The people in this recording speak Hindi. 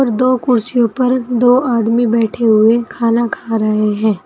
दो कुर्सियों पर दो आदमी बैठे हुए खाना खा रहे हैं।